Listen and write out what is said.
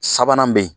Sabanan bɛ ye